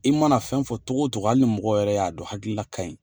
I mana fɛn fɔ cogo o cogo, hali ni mɔgɔ yɛrɛ y'a don hakilila ka ɲin